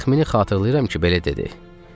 Təxmini xatırlayıram ki, belə dedi: